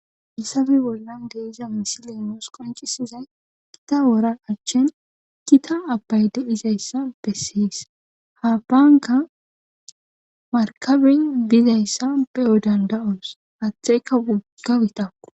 issafe bollan deiza misilenoos qoncisizay kita wora achchin kita abbayde dizayssa besseys ha baanka markabin bizayssa beyo danda7os aathteheyka wogggawita